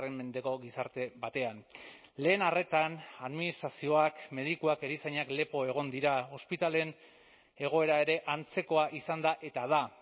mendeko gizarte batean lehen arretan administrazioak medikuak erizainak lepo egon dira ospitaleen egoera ere antzekoa izan da eta da